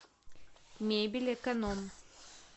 мебельэконом